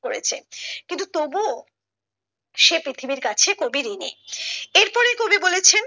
হয়েছে কিন্তু তবুও সে পৃথিবীর কাছে কবি ঋণী এরপরে কবি বলেছেন